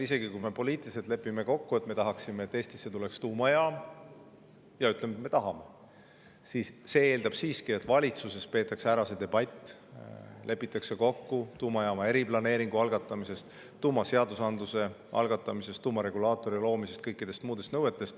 Isegi kui me poliitiliselt lepime kokku, et Eestisse tulla tuumajaam, ja ütleme, et me tahame seda, siis see eeldab siiski, et valitsuses peetakse ära see debatt, lepitakse kokku tuumajaama eriplaneeringu algatamises, tuumaseadusandluse algatamises, tuumaregulaatori loomises ja kõikides muudes nõuetes.